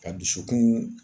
Ka dusukun